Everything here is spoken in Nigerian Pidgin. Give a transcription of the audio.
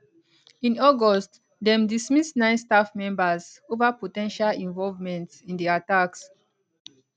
in august dem dismiss nine staff members ova po ten tial involvement in di attacks